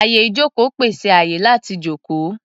Àyè-ìjókòó pèsè àyè láti jókòó.